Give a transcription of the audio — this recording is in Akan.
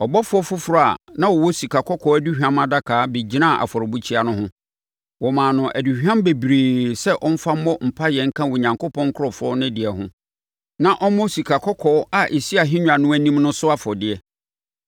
Ɔbɔfoɔ foforɔ a na ɔwɔ sikakɔkɔɔ aduhwam adaka bɛgyinaa afɔrebukyia no ho. Wɔmaa no aduhwam bebree sɛ ɔmfa mmɔ mpaeɛ nka Onyankopɔn nkurɔfoɔ no deɛ ho, na ɔmmɔ sikakɔkɔɔ a ɛsi ahennwa no anim no so afɔdeɛ.